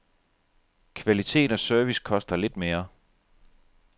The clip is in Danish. Kvalitet og service koster lidt mere.